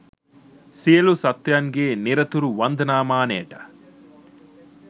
සියලු සත්ත්වයන්ගේ නිරතුරු වන්දනාමානයට